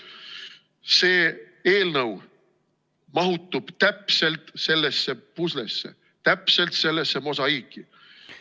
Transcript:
See eelnõu mahutub täpselt sellesse puslesse, täpselt sellesse mosaiiki.